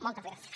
moltes gràcies